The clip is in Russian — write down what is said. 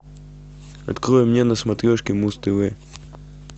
открой мне на смотрешке муз тв